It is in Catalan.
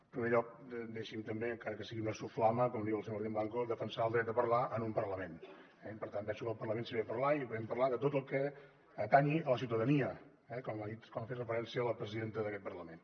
en primer lloc deixi’m també encara que sigui una soflama com diu el senyor martín blanco defensar el dret a parlar en un parlament eh i per tant penso que al parlament s’hi ve a parlar i podem parlar de tot el que atenyi la ciutadania com hi ha fet referència la presidenta d’aquest parlament